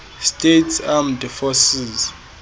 states armed forces